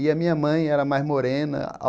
E a minha mãe era mais morena.